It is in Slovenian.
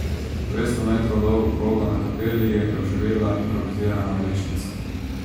Dvesto metrov dolgo progo na Kapeli je oživela improvizirana vlečnica.